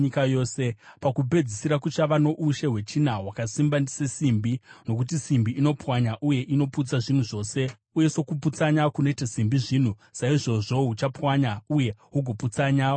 Pakupedzisira kuchava noushe hwechina, hwakasimba sesimbi, nokuti simbi inopwanya uye inoputsanya zvinhu zvose, uye sokuputsanya kunoita simbi zvinhu, saizvozvo huchapwanya uye hugoputsanya humwe hwose.